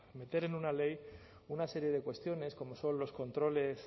meter en una ley una serie de cuestiones como son los controles